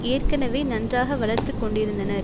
ஏற்கனவே நன்றாக வளர்த்து கொண்டிருந்தனர்